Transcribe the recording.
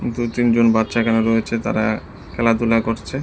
দু'তিনজন বাচ্চা এখানে রয়েছে তারা খেলাধুলা করছে।